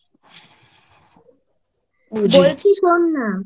বলছি শোন না